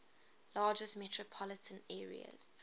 largest metropolitan areas